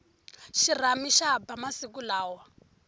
xirhami xa ba masiku lawa